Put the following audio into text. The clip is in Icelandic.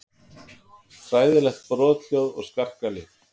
Hræðileg brothljóð og skarkali.